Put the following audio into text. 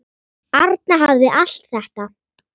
Arna hafði allt þetta.